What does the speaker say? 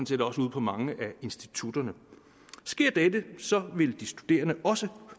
set også ude på mange af institutterne sker dette vil de studerende også